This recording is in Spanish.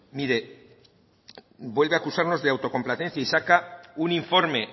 mire vuelve a acusarnos de autocomplacencia y saca un informe